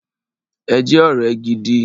Ẹ jẹ́ ọ̀rẹ́ gidi!